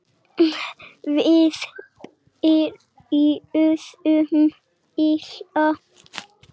Við byrjuðum illa